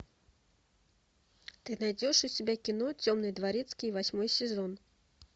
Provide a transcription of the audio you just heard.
ты найдешь у себя кино темный дворецкий восьмой сезон